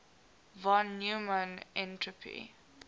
von neumann entropy